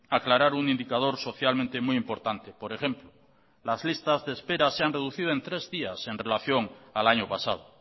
aclarar un indicador socialmente muy importante por ejemplo las listas de espera se han reducido en tres días en relación al año pasado